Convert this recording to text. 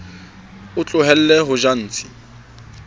o tlohelle ho tjha ntshi